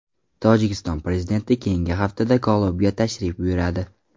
Tojikiston prezidenti keyingi haftada Ko‘lobga tashrif buyuradi.